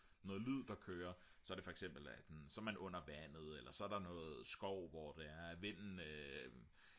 noget lyd der kører så er det for eksempel så er man under vandet eller så er der noget skov hvor det er at vinden den